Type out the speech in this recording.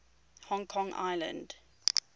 hong kong island